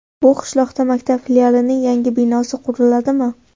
Bu qishloqda maktab filialining yangi binosi quriladimi?